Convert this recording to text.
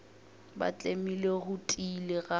ba tlemile go tiile ga